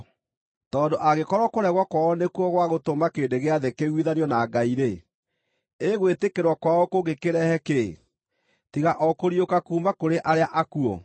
Tondũ angĩkorwo kũregwo kwao nĩkuo gwa gũtũma kĩrĩndĩ gĩa thĩ kĩiguithanio na Ngai-rĩ, ĩ gwĩtĩkĩrwo kwao kũngĩkĩrehe kĩĩ, tiga o kũriũka kuuma kũrĩ arĩa akuũ?